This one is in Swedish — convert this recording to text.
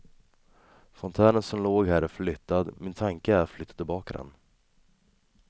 Fontänen som låg här är flyttad, min tanke är att flytta tillbaka den.